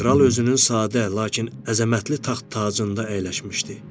Kral özünün sadə, lakin əzəmətli taxt-tacında əyləşmişdi.